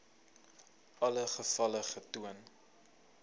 alle gevalle getoon